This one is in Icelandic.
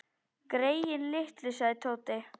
Greyin litlu sagði Tóti.